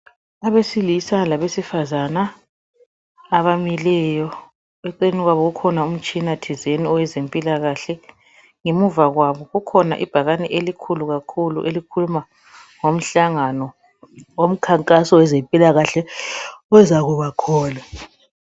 Abesilisa labesifazana abamileyo eceleni kwabo kukhona umtshina thizeni owezimpilakahle ngemuva kwabo kukhona ibhakane elikhulu kakhulu elikhuluma ngomhlangano owomkhankaso owezempilakahle ozakubakhona